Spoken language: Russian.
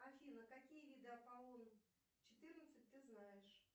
афина какие виды аполлон четырнадцать ты знаешь